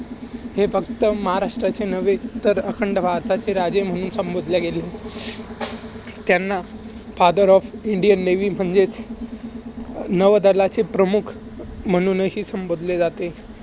हे फक्त महाराष्ट्राचे नव्हे तर, अखंड भारताचे राजे म्हणून संबोधले गेले. त्यांना father of Indian Navy म्हणजे नवदलाचे प्रमुख म्हणूनही संबोधले जाते.